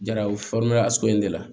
Jaraw asɔ in de la